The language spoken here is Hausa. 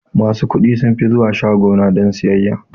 Masu kuɗi sunfi zuwa shaguna don sayayya.